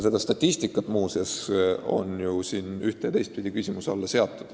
Seda statistikat muuseas on ju ühte- ja teistpidi kahtluse alla seatud.